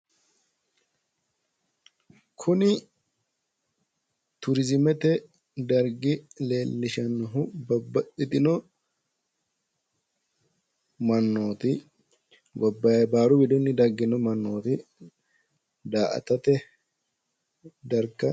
Kuni turiziimete dargi leellishannohu babbaxxitino mannooti baaru widinni daggino mannooti daa"atate darga